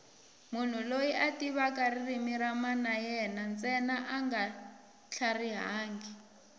munhu loyi a tivaka ririmi ra mana yena ntsena anga tlharihangi